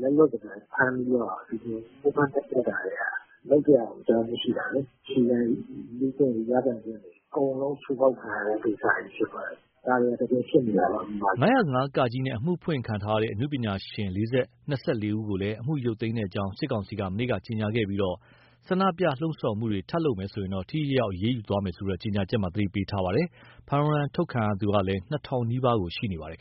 လက်လွတ်စပယ် ဖမ်းပြီးတော့ ညှင်းပန်းနှိပ်စက်တာတွေက လုပ်စရာကိုအကြောင်း မရှိတာလေ။ အခြေခံလူ့အခွင့်အရေး ရပိုင်ခွင့်တွေကို အကုန်လုံးချိုးဖောက်ခံရတဲ့ ကိစ္စကြီးဖြစ်ပါတယ်။ ဒါတွေဟာ တကယ်ဖြစ်နေတာပါ မြန်မာပြည်မှာ။” ၅၀၅ (က) နဲ့ အမှုဖွင့်ခံထားရတဲ့ အနုပညာရှင် ၂၄ ယောက်ကိုလည်း အမှုရုပ်သိမ်းကြောင်း စစ်ကောင်စီက မနေ့ကကြေညာခဲ့ပြီး ဆန္ဒပြလှုံ့ဆော်မှုတွေ ထပ်လုပ်မယ်ဆိုရင်တော့ ထိထိရောက်ရောက် အရေးယူသွားမယ်လို့ ကြေညာချက်မှာ သတိပေး ရေးသားထားပါတယ်။ ဖမ်းဝရမ်း ထုတ်ခံထားရသူလည်း ၂,၀၀၀ နီးပါး ရှိနေပါတယ်